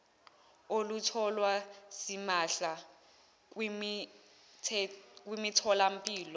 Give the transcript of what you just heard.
olutholwa simahla kwimitholampilo